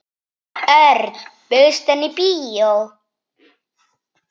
Örn, bauðstu henni í bíó?